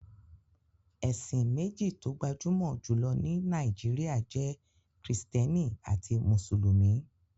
Ẹ̀sìn méjì tó gbajúmọ̀ jù lọ ní Nàìjíríà jẹ́ Kristẹni àti Mùsùlùmí.